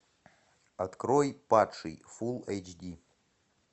открой падший фул эйч ди